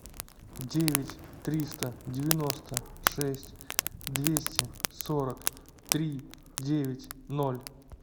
девять триста девяносто шесть двести сорок три девять ноль